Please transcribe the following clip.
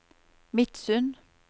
Midsund